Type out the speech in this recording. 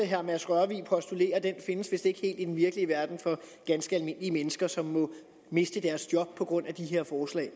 herre mads rørvig postulerer findes vist ikke helt i den virkelige verden for ganske almindelige mennesker som må miste deres job på grund af det her forslag